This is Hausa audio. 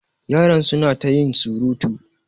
Yaran su na ta yin surutu.